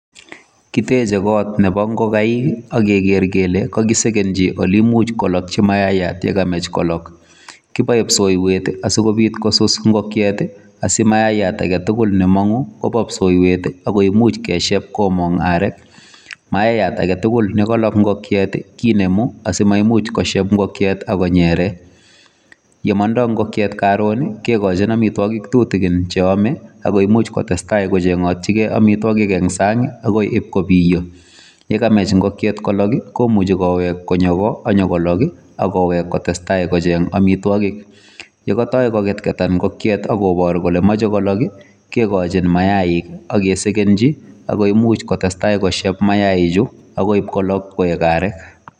Kiteche got neboo ngagaik ak kegeer kele kakisegenyii oleimuch kolokyii mayaat ye kamach kolok. Kiboe psoiywet asikobiit kosuus ingokiet asimayayat agetugul nemonguu koboo psoiywet ak koimuch kesheeb komong aarek. Mayayat agetugul nekolok ingokiet kinemu asimaimuch kosheeb ingokiet akonyeree. Ye mondoo ingokiet koroon kekochin amitwogik tutigin chrome, ako imuch kotestaa kochengotyigei amitwogiik en sang akoi iibkobiyoo. Ye kamach ingokiet kolok komuchi kowek konyoo goo akonyon kolok ak koweek kotestai kocheng amitwogiik. Ye kotoi kokotkotan ingokiet kobooru kole moche kolok kigochin mainik ak kesegenyii ako imuch kosheb mainichu akoi ipkolok koik aarek.